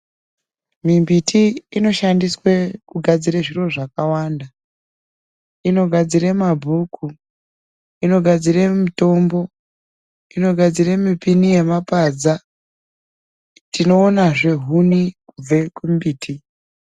Mimbiti inoshandiswe kugadzira zviro zvakawanda inogadzire mabhuku inogadzire mitombo inogadzire mipini yemapadza tinoonazve huni kubve kumbiti.